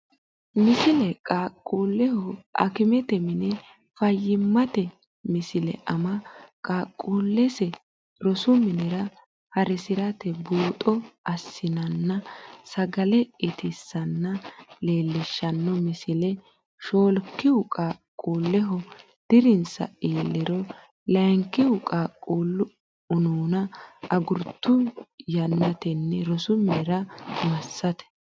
Misile Qaaqquulleho akimete mine fayyimmate Misile Ama qaaqquullese rosu minira ha risate buuxo assinanna sagale itissanna leellishshanno misile Shoolkihu qaaqquulleho dirinsa iilliro Layinkihu qaaqquullu unuuna agurtuhu yannatenni rosu minira massate.